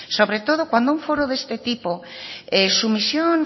sobre todo cuando un foro de este tipo su misión